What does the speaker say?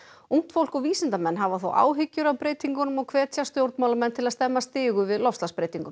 ungt fólk og vísindamenn hafa þó áhyggjur af breytingunum og hvetja stjórnmálamenn til að stemma stigu við loftslagsbreytingum